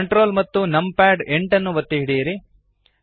Ctrl ಮತ್ತು numpad 8 ಒತ್ತಿ ಹಿಡಿಯಿರಿ